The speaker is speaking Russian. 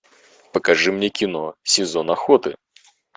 покажи мне кино сезон охоты